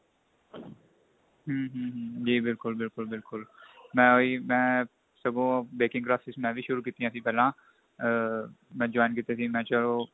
ਹਮ ਹਮ ਹਮ ਜੀ ਬਿਲਕੁਲ ਬਿਲਕੁਲ ਬਿਲਕੁਲ ਮੈਂ ਉਹੀ ਮੈਂ ਸਗੋ ਬੈਕਿੰਗ classes ਮੈਂ ਵੀ ਸ਼ੁਰੂ ਕੀਤੀਆ ਸੀ ਪਹਿਲਾਂ ਆ ਮੈਂ join ਕੀਤੀਆ ਸੀ ਮੈਂ ਚਲੋ